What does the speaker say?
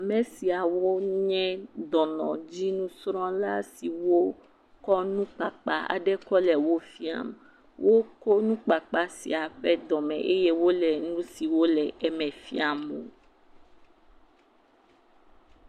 Ame siawo nye dɔnudzinusrɔ̃la siwo kɔ nukpakpa aɖe kɔ le wo fiam. Woko nukpakpa sia ƒe dɔme eye wole nu siwo le eme la fiam wo.